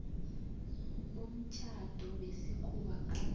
bomtjhado wesikhuwa gade